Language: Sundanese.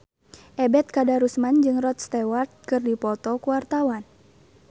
Ebet Kadarusman jeung Rod Stewart keur dipoto ku wartawan